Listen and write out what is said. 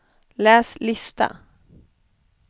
läs lista